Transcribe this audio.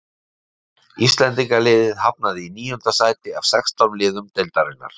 Íslendingaliðið hafnaði í níunda sæti af sextán liðum deildarinnar.